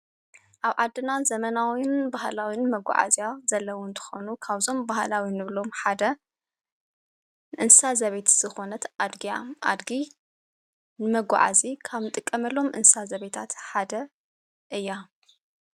ኣብ ዓድና ዘመናዊን ባህላዊን መጕዓ እልያ ዘለዉን ተኾኑ ካውዞም ባህላዊን እብሎም ሓደ ንንሳ ዘበት ዝኾነት ኣድግያ ኣድጊ መጕዓእዚ ካም ጥቀመሎም ንንሳ ዘቤታት ሓደ እያ::